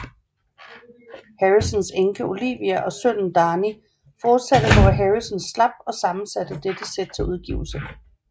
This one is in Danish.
Harrisons enke Olivia og sønnen Dhani fortsatte hvor Harrison slap og sammensatte dette sæt til udgivelse